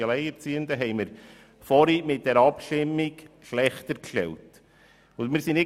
Die erste Kategorie haben wir mit dieser Abstimmung schlechter gestellt.